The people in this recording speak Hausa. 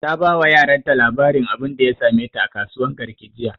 ta ba wa yaran ta labarin abunda ya same ta a kasuwan garki jiya